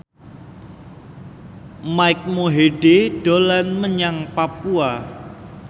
Mike Mohede dolan menyang Papua